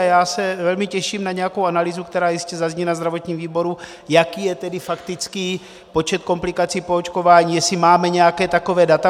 A já se velmi těším na nějakou analýzu, která jistě zazní na zdravotním výboru, jaký je tedy faktický počet komplikací po očkování, jestli máme nějaká taková data.